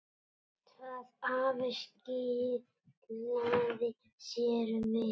Það hafi skilað sér vel.